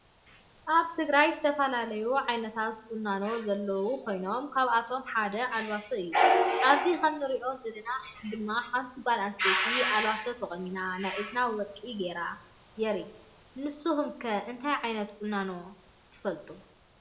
አብ ትግራይ ዝተፈላለዩ ዓየነታት ቆናኖ ዘለዉ ኮይኖም ካብአቶም ሓደ አልባሶ እዩ። አብዚ ከም እንሪኦ ዘለና ድማ ሓንቲ ጋል አንስተይቲ አልባሶ ተቆኒና ናይ እዝኒ ወርቂ ገይራ የሪኢ። ንስኩም ከ እንታይ ዓይነት ቁናኖ ትፈልጡ?